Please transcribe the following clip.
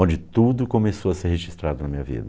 Onde tudo começou a ser registrado na minha vida.